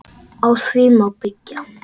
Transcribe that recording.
Á því má byggja.